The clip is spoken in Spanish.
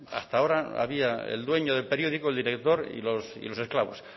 hasta ahora había el dueño del periódico el director y los esclavos